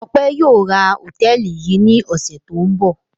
Ọpẹ́ yóò ra hòtẹ́ẹ́lì yìí ní ọ̀sẹ̀ tó ń bọ̀.